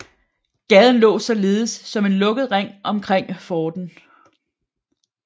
Gaden lå således som en lukket ring omkring forten